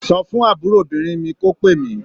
Sọ fún àbúròbìnrin mi kó pè mí.